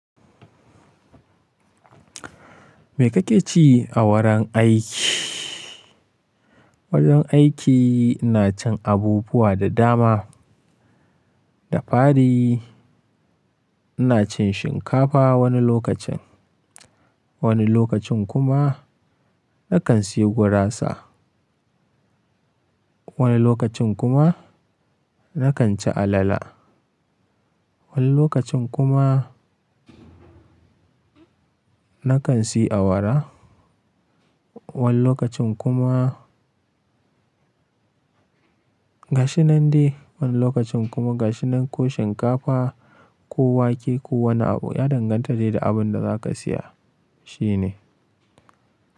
Me kake ci a wurin aiki? Wajen aiki ina cin abubuwa da dama. Da fari, ina cin shinkafa wani lokacin, wani lokacin kuma na kan sayi gurasa, wani lokacin kuma na kan ci alala. Wani lokacin kuma na kan siyi awara. Wani lokacin kuma, gashinan dai. Wani lokacin kuma gashinan ko shinkafa ko wake ko wani abu. Ya danganta dai da abin da za ka siya, shine.